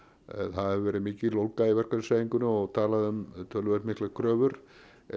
það hefur verið mikil ólga í verkalýðshreyfingunni og talað um töluvert miklar kröfur